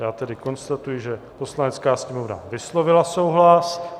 Já tedy konstatuji, že Poslanecká sněmovna vyslovila souhlas.